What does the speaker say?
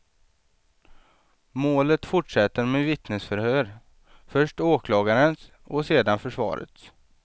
Målet fortsätter med vittnesförhör, först åklagarens och sedan försvarets.